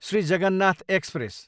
Shri Jagannath express